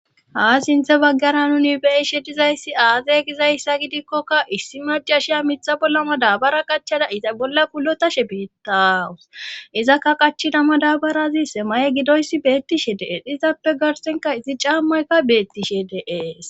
ha sinthe baggara nuni bei she dizayssi aazey gizayssa gidikkokka issi macashiya mitha bollama daabara qachada iza bolla kulotashe beettaawus izakka qachidama daabarazi sema7e gidoyssi beettishe de7e dhizappe garsenka izi caammaykka beettishe deees